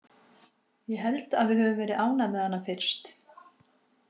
Ég held að við höfum verið ánægð með hana fyrst.